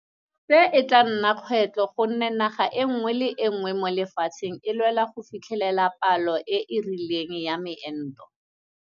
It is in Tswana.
Se e tla nna kgwetlho gonne naga nngwe le nngwe mo lefatsheng e lwela go fitlhelela palo e e rileng ya meento.